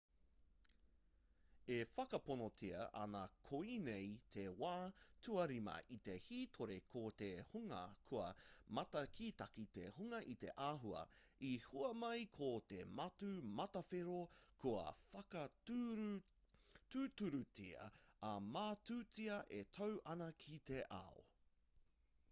e whakaponotia ana koinei te wā tuarima i te hītori ko te hunga kua mātakitaki te hunga i te āhua i hua mai ko te matū matawhero kua whakatūturutia ā-matūtia e tau ana ki te ao